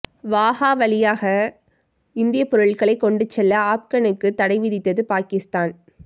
வாகா வழியாக இந்திய பொருட்களை கொண்டு செல்ல ஆப்கனுக்கு தடை விதித்தது பாகிஸ்தான்